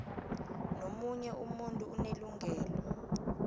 nomunye umuntu unelungelo